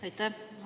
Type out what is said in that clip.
Aitäh!